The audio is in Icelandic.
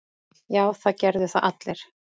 Já, það gerðu það allir.